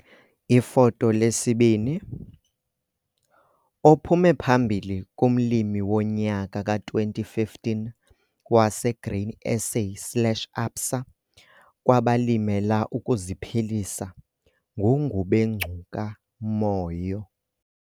Ifoto 2 - ophume phambili kuMlimi woNyaka ka-2015 waseGrain SA slash ABSA kwabaLimela ukuziPhilisa nguNgubengcuka Moyo.